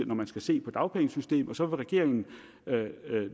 man skal se på dagpengesystemet og så vil regeringen